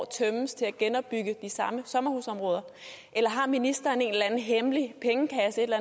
år tømmes til at genopbygge de samme sommerhusområder eller har ministeren en hemmelig pengekasse et